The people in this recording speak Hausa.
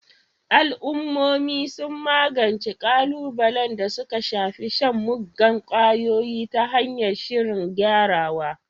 Al'ummomi sun magance ƙalubalen da suka shafi shan muggan ƙwayoyi ta hanyar shirin gyarawa